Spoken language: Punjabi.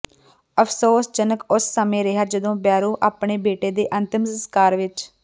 ਅਫਸੋਸ ਜਨਕ ਉਸ ਸਮੇਂ ਰਿਹਾ ਜਦੋਂ ਬੈਰੋ ਆਪਣੇ ਬੇਟੇ ਦੇ ਅੰਤਿਮ ਸਸਕਾਰ ਵਿਚ